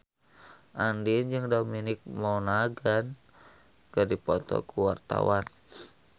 Andien jeung Dominic Monaghan keur dipoto ku wartawan